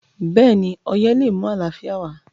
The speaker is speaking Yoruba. béèni oyè lé mú àlàfíà wá